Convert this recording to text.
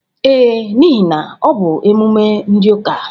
Ee, n'ihe na ọ bụ emume ndị ụka.